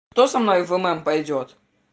кто со мной в м пойдёт